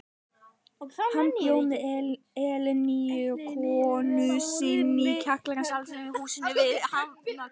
Hann bjó með Elínu konu sinni í kjallara Sjálfstæðishússins við Hafnargötu.